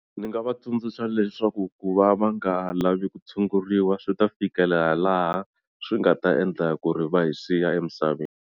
Ni nga va tsundzuxa leswaku ku va va nga lavi ku tshunguriwa swi ta fikelela laha swi nga ta endla ku ri va hi siya emisaveni.